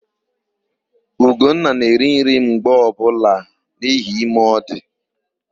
Ugonna na-eri nri mgbe ọbụla n'ihi ime ọ dị.